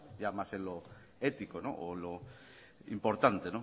ya más en lo ético o lo importante en